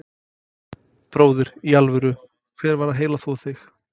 Bróðir, í alvöru, hver var að heilaþvo þig?